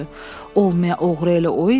Olmaya oğru elə o idi?